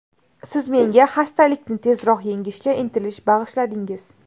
Siz menga xastalikni tezroq yengishga intilish bag‘ishladingiz!